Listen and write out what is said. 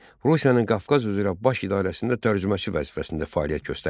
Rusiyanın Qafqaz üzrə Baş İdarəsində tərcüməçi vəzifəsində fəaliyyət göstərir.